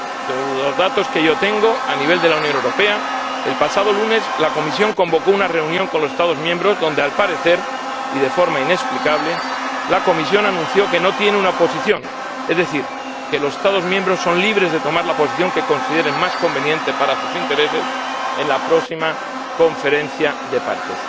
Según los datos que yo tengo por lo que respecta a la Unión Europea, el pasado lunes la Comisión convocó una reunión con los Estados miembros en la que, al parecer, y de forma inexplicable, anunció que no tiene una posición, es decir, que los Estados miembros son libres de adoptar la posición que consideren más conveniente para sus intereses en la próxima Conferencia de las Partes.